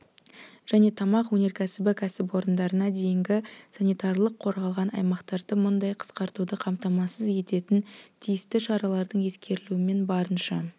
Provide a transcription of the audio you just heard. және тамақ өнеркәсібі кәсіпорындарына дейінгі санитарлық-қорғалған аймақтарды мұндай қысқаруды қамтамасыз ететін тиісті шаралардың ескерілуімен барынша